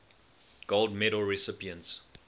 gold medal recipients